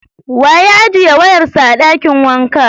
Wa ya ajiye wayan sa a dakin wanka?